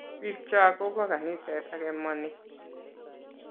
bik cho kobo kaniset ake ma ni